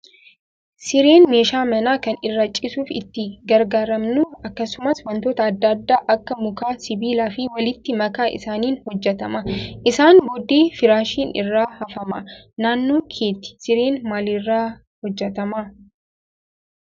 Sireen meeshaa manaa kan irra ciisuuf itti gargaaramnu akkasumas wantoota adda addaa akka mukaa, sibiilaa fi walitti makaa isaaniin hojjatama. Isaan booddee firaashiin irra hafama. Naannoo keetti sireen maalirraa hojjatama?